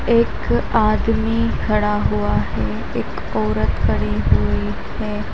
एक आदमी खड़ा हुआ है एक औरत खड़ी हुई है।